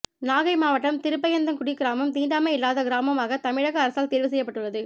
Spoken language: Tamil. நாகை மாவட்டம் திருப்பயத்தங்குடி கிராமம் தீண்டாமை இல்லாத கிராமமாக தமிழக அரசால் தேர்வு செய்யப்பட்டுள்ளது